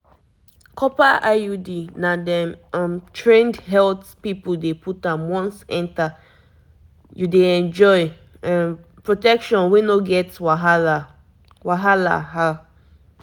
copper iud na dem um trained health people dey put am once enter you dey enjoy um protection wey no get wahala wahala